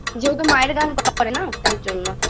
যেহেতু মায়ের গান করে না তাই জন্য